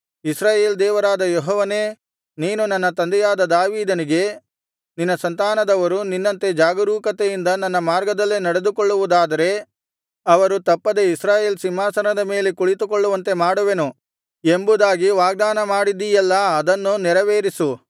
ಇಸ್ರಾಯೇಲ್ ದೇವರಾದ ಯೆಹೋವನೇ ನೀನು ನನ್ನ ತಂದೆಯಾದ ದಾವೀದನಿಗೆ ನಿನ್ನ ಸಂತಾನದವರು ನಿನ್ನಂತೆ ಜಾಗರೂಕತೆಯಿಂದ ನನ್ನ ಮಾರ್ಗದಲ್ಲೇ ನಡೆದುಕೊಳ್ಳುವುದಾದರೆ ಅವರು ತಪ್ಪದೆ ಇಸ್ರಾಯೇಲ್ ಸಿಂಹಾಸನದ ಮೇಲೆ ಕುಳಿತುಕೊಳ್ಳುವಂತೆ ಮಾಡುವೆನು ಎಂಬುದಾಗಿ ವಾಗ್ದಾನ ಮಾಡಿದಿಯಲ್ಲಾ ಅದನ್ನು ನೆರವೇರಿಸು